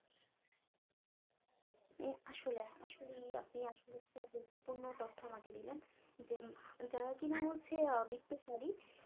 এই আসলে আসলেই আপনি আসলে একটা গুরুত্বপূর্ণ তথ্য আমাকে দিলেন যে যারা কিনা হচ্ছে আহ বিত্তশালী